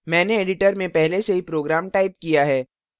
मैंने editor में पहले से ही program टाइप किया है